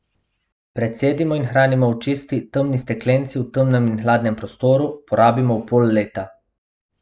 Precedimo in hranimo v čisti, temni steklenici v temnem in hladnem prostoru, porabimo v pol leta.